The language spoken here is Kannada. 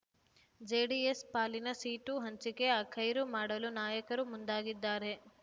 ಜೆಡಿಎಸ್ ಪಾಲಿನ ಸೀಟು ಹಂಚಿಕೆ ಅಖೈರು ಮಾಡಲು ನಾಯಕರು ಮುಂದಾಗಿದ್ದಾರೆ